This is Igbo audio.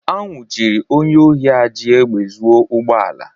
A nwụchiri onye ohi a ji egbe zuo ụgbọ ala.